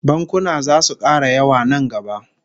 Bankuna zasu kara yawa nan gaba